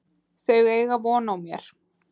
Þau eiga von á mér.